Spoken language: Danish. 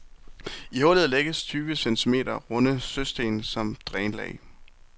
I hullet lægges tyve centimeter runde søsten som drænlag.